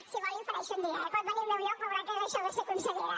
si vol l’hi ofereixo un dia eh pot venir al meu lloc veurà què és això de ser consellera